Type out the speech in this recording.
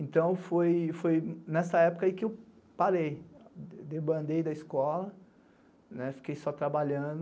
Então, foi nessa época que eu parei, debandei da escola, fiquei só trabalhando.